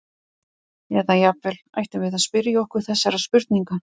Eða jafnvel: Ættum við að spyrja okkur þessara spurninga?